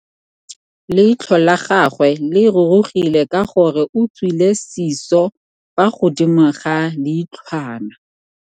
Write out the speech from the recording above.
Leitlhô la gagwe le rurugile ka gore o tswile sisô fa godimo ga leitlhwana.